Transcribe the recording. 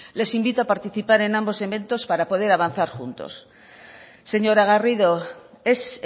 les invito a participar en ambos eventos para poder avanzar juntos señora garrido es